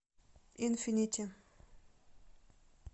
инфинити